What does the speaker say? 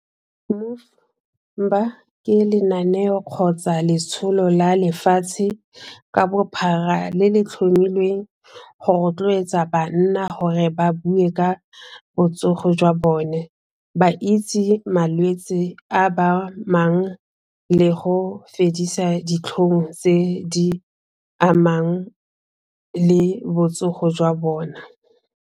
Ke lenaneo kgotsa letsholo la lefatshe ka bophara le le tlhomilweng go rotloetsa banna gore ba bue ka botsogo jwa bone ba itse malwetse a ba amang le go fedisa ditlhong tse di amang le botsogo jwa bona.